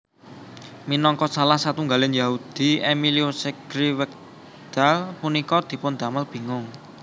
Minangka salah satunggaling Yahudi Emilio Segrè wekdal punika dipundamel bingung